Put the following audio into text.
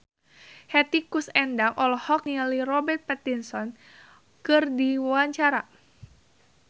Hetty Koes Endang olohok ningali Robert Pattinson keur diwawancara